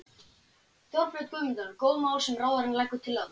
Þorbjörn: Guðmundur, góð mál sem ráðherrann leggur til þarna?